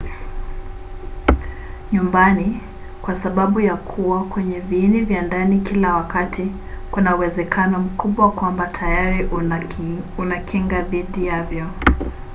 nyumbani kwa sababu ya kuwa kwenye viini vya ndani kila wakati kuna uwezekano mkubwa kwamba tayari una kinga dhidi yavyo